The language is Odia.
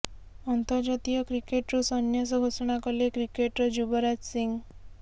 ଅନ୍ତର୍ଜାତୀୟ କ୍ରିକେଟ୍ରୁ ସନ୍ୟାସ ଘୋଷଣା କଲେ କ୍ରିକେଟର ଯୁବରାଜ ସିଂହ